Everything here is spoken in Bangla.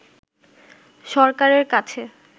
সরকারের কাছে